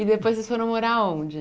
E depois vocês foram morar onde?